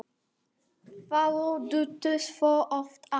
Þau duttu svo oft af.